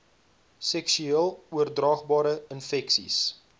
seksueel oordraagbare infeksies